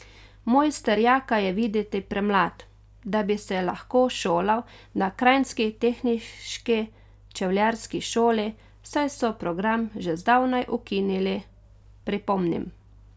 Mojster Jaka je videti premlad, da bi se lahko šolal na kranjski Tehniški čevljarski šoli, saj so program že zdavnaj ukinili, pripomnim.